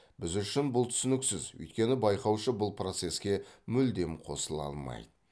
біз үшін бұл түсініксіз өйткені байқаушы бұл процеске мүлдем қосыла алмайды